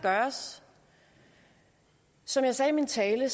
gøres som jeg sagde i min tale